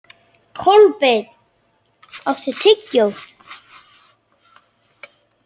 Hefi ég ekki einmitt fórnað mammoni fyrir sálu mína?